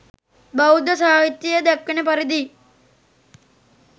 බෞද්ධ සාහිත්‍යයේ දැක්වෙන පරිදි